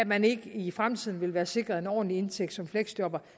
man ikke i fremtiden vil være sikret en ordentlig indtægt som fleksjobber